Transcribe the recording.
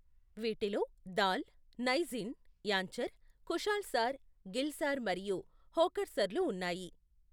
వీటిలో దాల్, నైజీన్, యాంచర్, ఖుషాల్ సార్, గిల్ సార్ మరియు హోకర్సర్లు ఉన్నాయి.